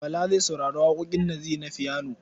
Bala zai saurari waƙoƙin Naziru na fiyano.